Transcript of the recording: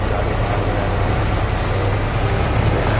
गाड़ी पार हो रहा है रोड में और एक बैनर --